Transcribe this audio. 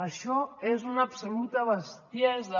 això és una absoluta bestiesa